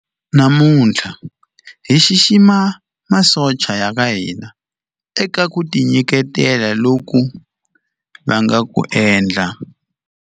Namuntlha hi xixima masocha ya ka hina eka ku tinyiketela loku va nga ku endla.